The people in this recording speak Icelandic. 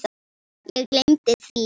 Ég gleymdi því.